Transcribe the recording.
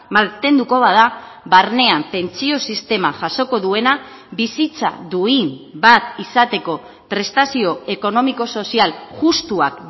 mantenduko bada barnean pentsio sistema jasoko duena bizitza duin bat izateko prestazio ekonomiko sozial justuak